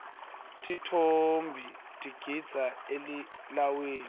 tintfombi tigidza elilawini